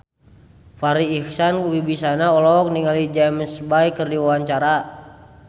Farri Icksan Wibisana olohok ningali James Bay keur diwawancara